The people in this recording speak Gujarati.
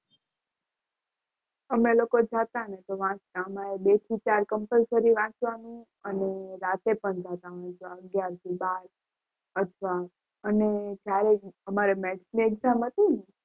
અમે લોકો જતા ને તો વાંચતા અમારે બે થી ચાર compulsory વાંચવાનું અને રાતે પણ જવાનું અગિયાર થી બાર અથવા અને જ્યારે અમારે maths ની exam હતી ને